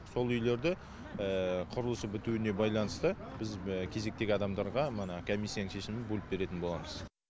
сол үйлерді құрылысы бітуіне байланысты біз кезектегі адамдарға мына комиссияның шешімімен бөліп беретін боламыз